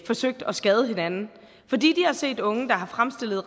forsøgte at skade hinanden fordi de har set unge der har fremstillet